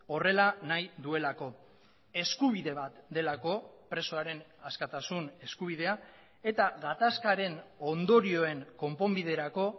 horrela nahi duelako eskubide bat delako presoaren askatasun eskubidea eta gatazkaren ondorioen konponbiderako